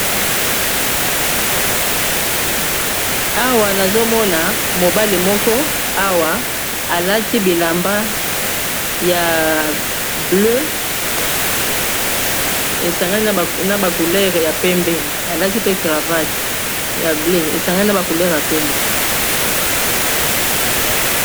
Awa toza komona mobali alati elamba ya liputa na cravatte na ngo atelemi liboso ya zamba ya matiti.